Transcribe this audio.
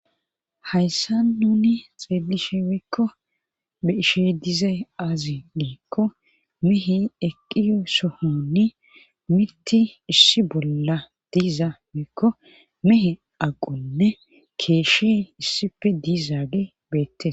hayssa nuni xeelishe wiikko beishe dizay aazi giikko mihi eqqiy sohonni mitti issi bolla diiza mikko mihe aqonne keeshshe issife diizaage beette